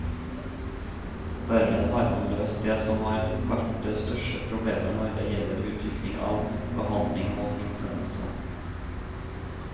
Dermed har man løst det som har vært det største problemet når det gjelder utvikling av behandling mot influensa.